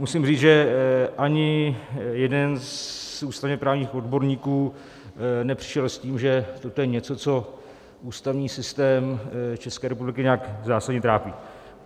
Musím říct, že ani jeden z ústavně-právních odborníků nepřišel s tím, že toto je něco, co ústavní systém České republiky nějak zásadně trápí.